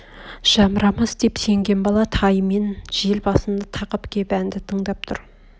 жамырамас деп сенген бала тайымен жел басына тақап кеп әнді тыңдап тұр